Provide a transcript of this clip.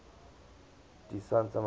di santa maria